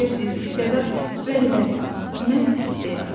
Bilirsiz, istedad, bəli, bəli, məhz istedad.